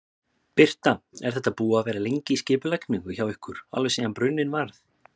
Birta: Er þetta búið að vera lengi í skipulagningu hjá ykkur, alveg síðan bruninn varð?